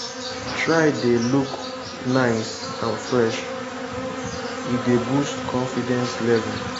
try de look nice and fresh e dey boost confidence level